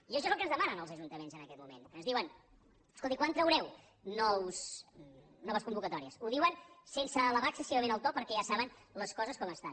i això és el que ens demanen els ajuntaments en aquest moment ens diuen escolti quan traureu noves convocatòries ho diuen sense elevar excessivament el to perquè ja saben les coses com estan